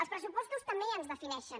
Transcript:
els pressupostos també ens defineixen